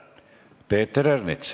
Peeter Ernits.